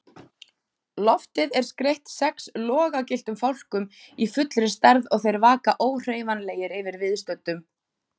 Loftið er skreytt sex logagylltum fálkum í fullri stærð og þeir vaka óhreyfanlegir yfir viðstöddum.